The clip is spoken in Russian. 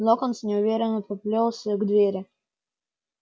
локонс неуверенно поплёлся к двери